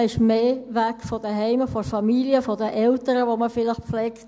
Man ist mehr weg vom Zuhause, von der Familie, von den Eltern, die man vielleicht pflegt.